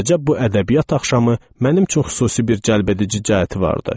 Beləcə bu ədəbiyyat axşamı mənim üçün xüsusi bir cəlbedici cəhəti vardı.